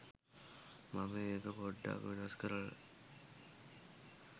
මම ඒක පොඩ්ඩක් වෙනස් කරල